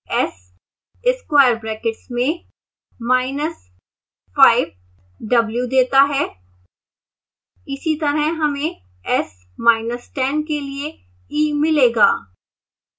s square brackets में minus five w देता है